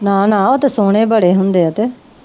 ਨਾ ਨਾ ਉਹ ਤੇ ਸੋਹਣੇ ਬੜੇ ਹੁੰਦੇ ਆ ਤੇ